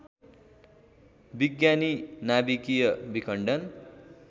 विज्ञानी नाभिकीय विखण्डन